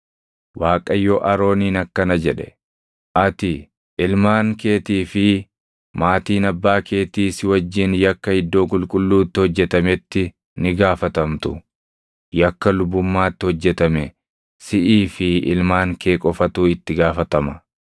Waaqayyo Arooniin akkana jedhe; “Ati, ilmaan keetii fi maatiin abbaa keetii si wajjin yakka iddoo qulqulluutti hojjetametti ni gaafatamtu. Yakka lubummaatti hojjetame siʼii fi ilmaan kee qofatu itti gaafatama.